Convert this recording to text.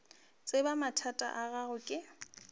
tseba mathata a gago ke